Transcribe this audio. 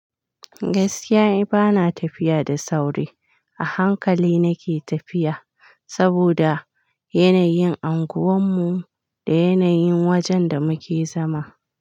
Gaskiya, bana tafiya da sauri. A hankali nake tafiya saboda yanayin anguwan mu da yanayin wajen da muke zama.